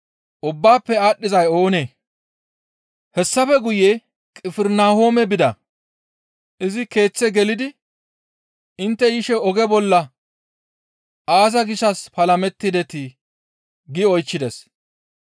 Hessafe guye Qifirnahoome bida; izi keeththe gelidi, «Intte yishe oge bolla aaza gishshas palamettidetii?» gi oychchides.